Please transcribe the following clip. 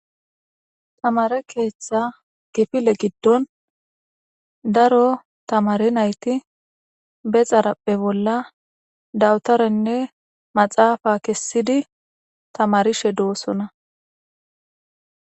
tamare keeththa kifile giddon daro tamare nayti be xarapphe bolla dawutarenne maxaafa kessidi tamarishe doosona